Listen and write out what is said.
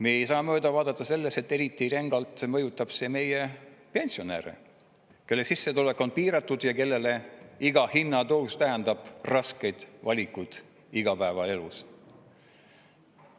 Me ei saa mööda vaadata sellest, et eriti rängalt mõjutab see meie pensionäre, kelle sissetulek on piiratud ja kellele iga hinnatõus tähendab raskeid valikuid igapäevaelus.